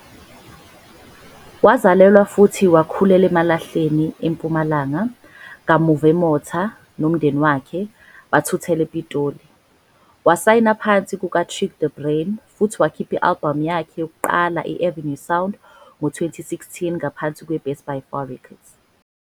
Wazalelwa futhi wakhulela I-eMalahleni, IMpumalanga, kamuva eMotha, nomndeni wakhe, bathuthela ePitoli. Wasayina ngaphansi kukaTyrique de Bruyne futhi wakhipha i-albhamu yakhe yokuqala i-Avenue Sound ngo-2016 ngaphansi kwe-Bestbyfar Records.